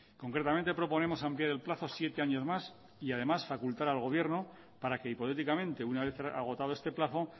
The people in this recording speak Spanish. concretamente proponemos ampliar el plazo siete años más y además facultar al gobierno para que hipotéticamente una vez agotado este plazo